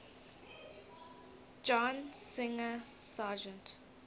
john singer sargent